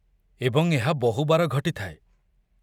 ଏବଂ ଏହା ବହୁ ବାର ଘଟିଥାଏ।